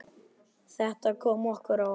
Þetta kom okkur á óvart.